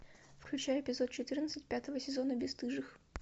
включай эпизод четырнадцать пятого сезона бесстыжих